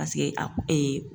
Paseke a